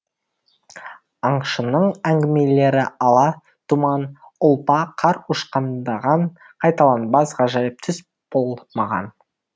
аңшының әңгімелері ала тұман ұлпа қар ұшқындаған қайталанбас ғажайып түс бұл маған